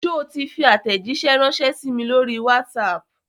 Sọ ti fi àtẹ̀jíṣé ránsẹ́ sí mi lórí WhatsApp?